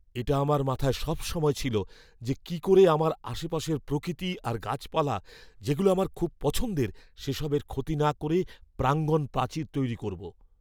এটা আমার মাথায় সবসময় ছিল যে কী করে আমরা আশেপাশের প্রকৃতি আর গাছপালা যেগুলো আমার খুব পছন্দের, সেসবের ক্ষতি না করে প্রাঙ্গণ প্রাচীর তৈরি করব!